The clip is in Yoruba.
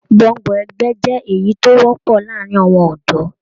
Gbọ́ngbọ̀n ẹgbẹ jẹ èyí tó wọpọ láàárín àwọn ọdọ